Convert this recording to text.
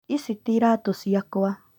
Ici ti iratũ ciakwa